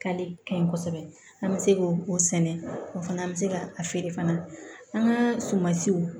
Kali ka ɲi kosɛbɛ an bɛ se k'o o sɛnɛ o fana an bɛ se ka a feere fana an ka sumansiw